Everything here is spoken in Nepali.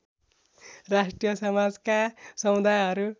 राष्ट्रिय समाजका समुदायहरू